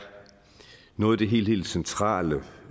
noget af det helt centrale